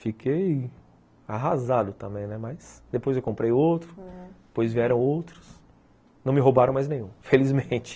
Fiquei arrasado também, mas depois eu comprei outro, depois vieram outros, não me roubaram mais nenhum, felizmente